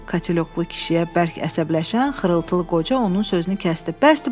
Katilyoklu kişiyə bərk əsəbləşərək xırıltılı qoca onun sözünü kəsdi.